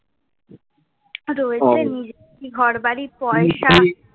রয়েছে নিজের ঘর বাড়ি পয়সা,